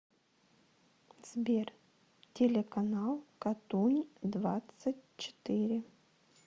сбер телеканал катунь двадцать четыре